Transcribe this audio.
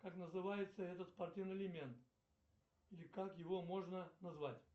как называется этот спортивный элемент или как его можно назвать